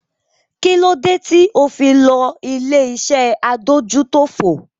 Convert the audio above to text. Kí ló dé tí o fi lo ilé-iṣẹ́ adójútòfò?